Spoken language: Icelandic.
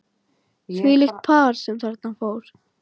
Þvílíkt par sem þarna fór.